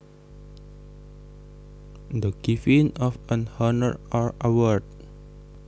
The giving of an honor or award